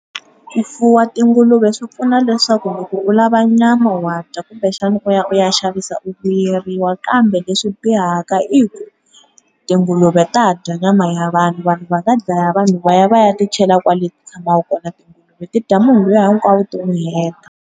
Ku fuwa tinguluve swi pfuna leswaku loko u lava nyama wa dya kumbe xana u ya u ya xavisa u vuyeriwa kambe leswi bihaka i ku, tinguluve ta dya nyama ya vanhu vanhu va nga dlaya vanhu va ya va ya ti chela kwale ti tshmaka kona tinguluve ti dya munhu lu ya hinkwawo ti mu heta.